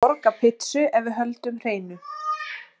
Ég vil borga pizzu ef við höldum hreinu.